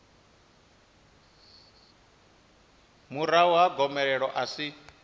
murahu ha gomelelo a si